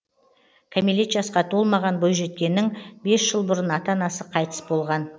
кәмелет жасқа толмаған бойжеткеннің бес жыл бұрын ата анасы қайтыс болған